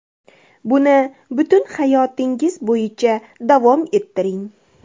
Buni butun hayotingiz bo‘yicha davom ettiring.